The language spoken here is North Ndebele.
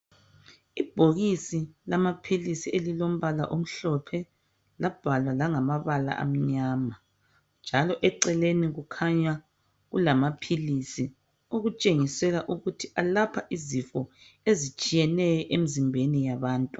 Ibhokisi lamaphilisi elilombala omhlophe njalo labhalwa ngamabala amnyama njalo eceleni kukhanya kulamaphilisi atshengisa ukuba alapha izifo ezitshiyeneyo emzimbeni yabantu .